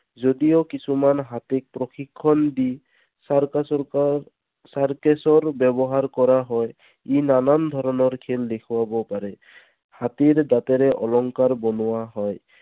যদিও কিছুমান হাতীক প্ৰশিক্ষণ দি circus ৰ circus ৰ ব্যৱহাৰ কৰা হয়। ই নানান ধৰণৰ খেল দেখুৱাব পাৰে। হাতীৰ দাঁতেৰে অলংকাৰ বনোৱা হয়।